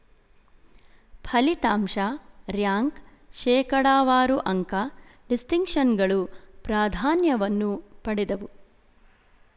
ಫಲಿತಾಂಶ ರ್ಯಾಂಕ್ ಶೇಕಡಾವಾರು ಅಂಕ ಡಿಸ್ಟಿಂಕ್ಷನ್‍ಗಳು ಪ್ರಾಧಾನ್ಯವನ್ನು ಪಡೆದವು